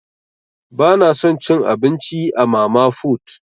Bana son cin abinci a mama fut.